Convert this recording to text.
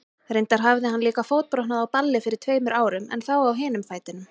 Reyndar hafði hann líka fótbrotnað á balli fyrir tveimur árum, en þá á hinum fætinum.